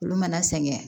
Olu mana sɛgɛn